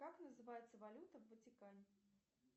как называется валюта в ватикане